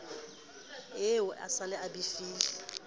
eo a se a befile